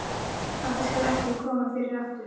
Þetta skal ekki koma fyrir aftur.